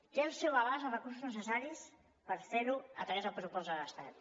té al seu abast els recursos necessaris per fer ho a través del pressupost de l’estat